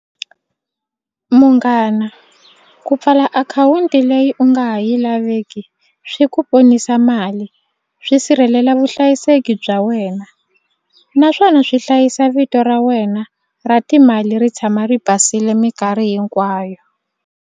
Munghana ku pfala akhawunti leyi u nga ha yi laveki swi ku ponisa mali swi sirhelela vuhlayiseki bya wena naswona swi hlayisa vito ra wena ra timali ri tshama ri basile mikarhi hinkwayo.